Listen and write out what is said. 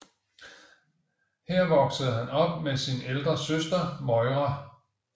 Her voksede han op med sin ældre søster Moira